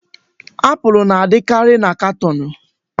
Apụl na-adịkarị na katọọnụ.